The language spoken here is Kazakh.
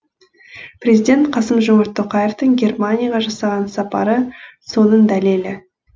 президент қасым жомарт тоқаевтың германияға жасаған сапары соның дәлелі